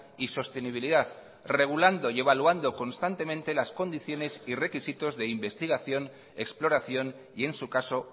y sostenibilidad regulando y evaluando constantemente las condiciones y requisitos de investigación exploración y en su caso